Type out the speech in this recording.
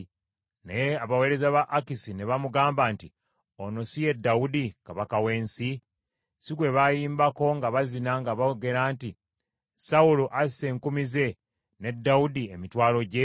Naye abaweereza ba Akisi ne bamugamba nti, “Oyo si ye Dawudi kabaka w’ensi? Si gwe bayimbako nga bazina, nga boogera nti, “ ‘Sawulo asse enkumi ze ne Dawudi emitwalo gye?’ ”